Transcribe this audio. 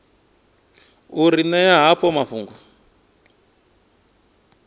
u ri ṅea havho mafhungo